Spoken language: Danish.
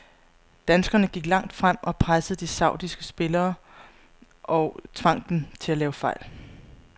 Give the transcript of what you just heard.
Danskerne gik langt frem og pressede de saudiske spillere og tvang dem til at lave fejl.